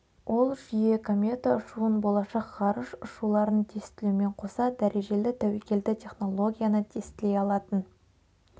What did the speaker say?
ол жүйе комета ұшуын болашақ ғарыш ұшуларын тестілеумен қоса дәрежелі тәуекелді технологияны тестілей алатын